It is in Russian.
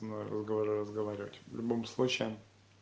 разговоры разговаривать в любом случае